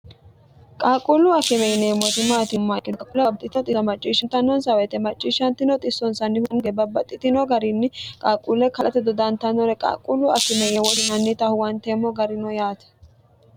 qaaquullu afime yinemmoimmimmin ulbo macciishshnons wyie macciishshino onsnnhunge babbaxxitino garinni qaaquulle kalate dodantannore qaaqquullu afimeye worihannita huwanteemmo garino yaate